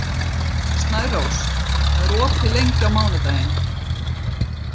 Snærós, hvað er opið lengi á mánudaginn?